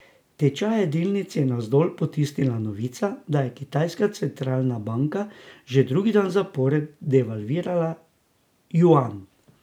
Tečaje delnic je navzdol potisnila novica, da je kitajska centralna banka že drugi dan zapored devalvirala juan.